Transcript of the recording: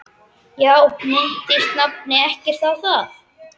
Já, minntist nafni ekkert á það?